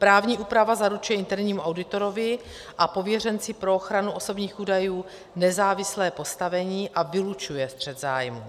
Právní úprava zaručuje internímu auditorovi a pověřenci pro ochranu osobních údajů nezávislé postavení a vylučuje střet zájmů.